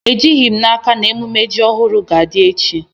Ejighi m n'aka ma emume ji ohuru ga-adi echi